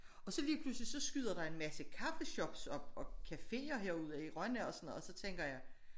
Og så lige pludselig så skyder der en masse kaffeshops op og caféer herude i Rønne og sådan noget og så tænker jeg